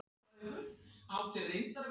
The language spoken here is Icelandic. Hödd: Er þetta það skemmtilegasta sem þú gerir?